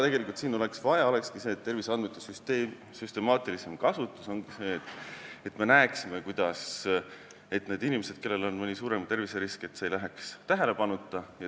Tegelikult oleks vaja terviseandmete süstemaatilisemat kasutust, et need inimesed, kellel on mõni suurem terviserisk, ei jääks tähelepanuta.